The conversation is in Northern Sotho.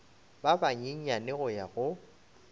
ba banyenyane go ya go